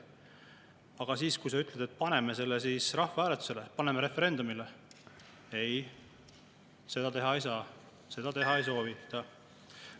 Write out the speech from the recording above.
Aga kui sa ütled, et paneme selle rahvahääletusele, paneme referendumile, siis öeldakse ei, seda teha ei saa, seda teha ei soovita.